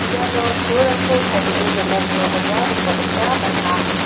iano pulrangko tarie donanirangkoba nikna gita man·a.